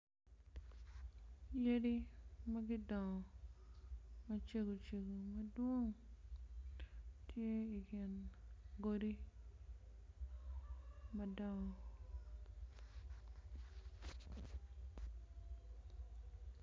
Yadi magudongo macego cego madwong tye i gin godi madongo.